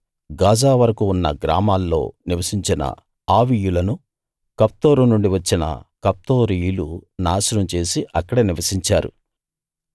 Gaza వరకూ ఉన్న గ్రామాల్లో నివసించిన ఆవీయులను కఫ్తోరు నుండి వచ్చిన కఫ్తోరీయులు నాశనం చేసి అక్కడ నివసించారు